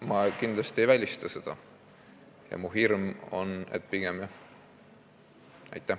Ma kindlasti ei välista seda ja mu hirm on, et pigem jah.